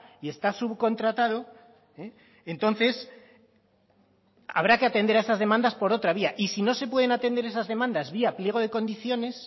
y está subcontratado entonces habrá que atender a esas demandas por otra vía y si no se pueden atender esas demandas vía pliego de condiciones